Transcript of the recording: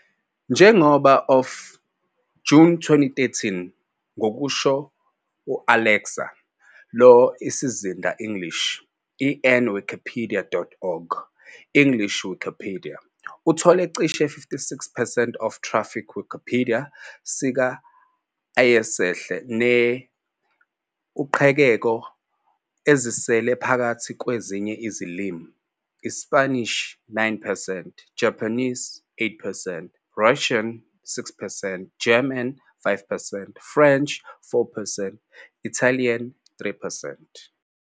Njengoba of June 2013, ngokusho Alexa, lo isizinda English, en.wikipedia.org, English Wikipedia, uthola cishe 56 percent of traffic Wikipedia sika ayesehle, ne uqhekeko ezisele phakathi kwezinye izilimi, iSpanishi- 9 percent, Japanese- 8 percent, Russian- 6 percent, German- 5 percent, French- 4 percent, Italian-. 3 percent,